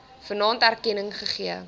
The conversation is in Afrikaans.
vanaand erkenning gegee